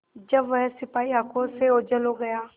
जब वह सिपाही आँखों से ओझल हो गया